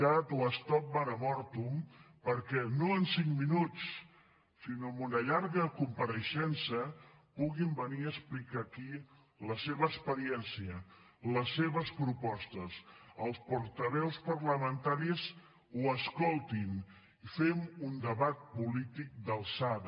cat o stop mare mortum perquè no en cinc minuts sinó amb una llarga compareixença puguin venir a explicar aquí la seva experiència les seves propostes que els portaveus parlamentaris els escoltin i fem un debat polític d’alçada